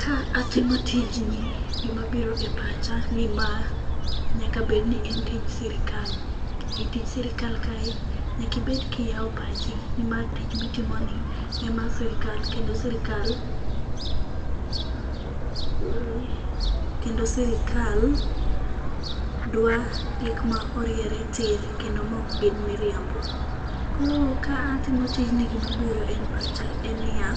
Ka atimo tijni gimabiro e pacha ni ma nyaka bedni en tij sirikal. E tij sirikal kae, nyaka ibed kiyawo pachi nimar tich mitimoni en mar sirikal kendo sirikal dwa gik ma oriere tir kendo mok gin miriambo. Koro katimo tijni gima biro e pacha ne ni ya